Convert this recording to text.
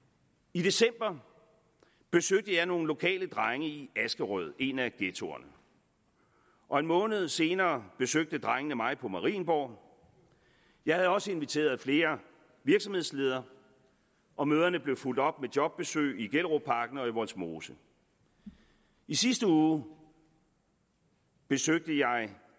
i december besøgte jeg nogle lokale drenge i askerød en af ghettoerne og en måned senere besøgte drengene mig på marienborg jeg havde også inviteret flere virksomhedsledere og møderne blev fulgt op med jobbesøg i gellerupparken og i vollsmose i sidste uge besøgte jeg